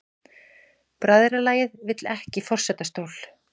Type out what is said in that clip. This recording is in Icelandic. Bræðralagið vill ekki forsetastól